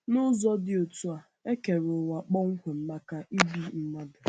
N’ụzọ dị otú a, e kere ụwa kpọmkwem maka ibi mmadụ.